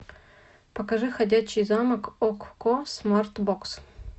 покажи ходячий замок окко смарт бокс